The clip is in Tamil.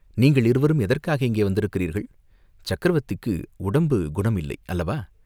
"நீங்கள் இருவரும் எதற்காக இங்கே வந்திருக்கிறீர்கள்?" "சக்கரவர்த்திக்கு உடம்பு குணம் இல்லை அல்லவா?